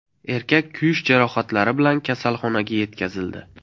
Erkak kuyish jarohatlari bilan kasalxonaga yetkazildi.